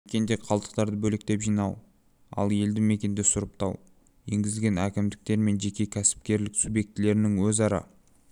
мекенде қалдықтарды бөлектеп жинау ал елді мекенде сұрыптау енгізілген әкімдіктер мен жеке кәсіпкерлік субъектілерінің өзара